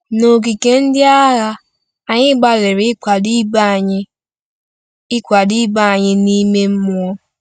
N’ogige ndị agha, anyị gbalịrị ịkwado ibe anyị ịkwado ibe anyị n’ime mmụọ.